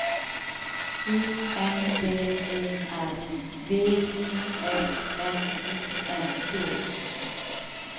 U N D E R V I S N I N G